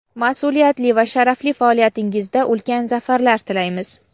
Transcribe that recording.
masʼuliyatli va sharafli faoliyatingizda ulkan zafarlar tilaymiz!.